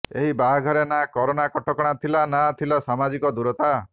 ଏହି ବାହାଘରେ ନା କରୋନା କଟକଣା ଥିଲା ନା ଥିଲା ସାମାଜିକ ଦୂରତା